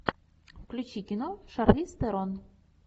включи кино с шарлиз терон